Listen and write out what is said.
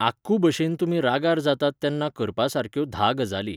आक्कू भशेन तुमी रागार जातात तेन्ना करपा सारक्यो धा गजाली.